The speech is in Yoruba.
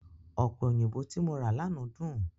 Ọ̀pẹ̀ òyìnbó tí mo rà lánàá dùn.